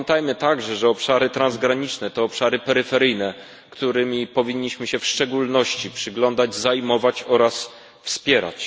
Pamiętajmy także, że obszary transgraniczne to obszary peryferyjne, którym powinniśmy się w szczególności przyglądać, zajmować nimi oraz je wspierać.